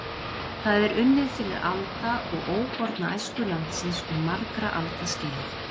Það er unnið fyrir alda og óborna æsku landsins um margra alda skeið.